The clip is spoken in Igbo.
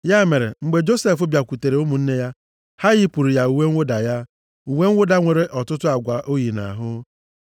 Ya mere, mgbe Josef bịakwutere ụmụnne ya, ha yipụrụ ya uwe mwụda ya, uwe mwụda nwere ọtụtụ agwa o yi nʼahụ.